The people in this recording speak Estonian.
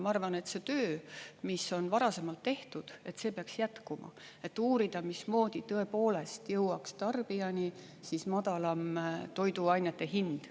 Ma arvan, et see töö, mis on varasemalt tehtud, peaks jätkuma, et uurida, mismoodi tõepoolest jõuaks tarbijani madalam toiduainete hind.